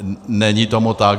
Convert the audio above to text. Není tomu tak.